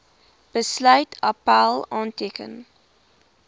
besluit appèl aanteken